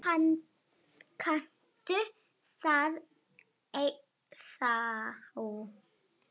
Kanntu það ennþá?